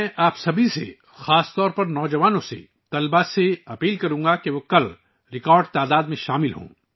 میں آپ سبھی، خاص طور پر نوجوانوں اور طلبہ سے اپیل کرتا ہوں کہ وہ کل ریکارڈ تعداد میں شامل ہوں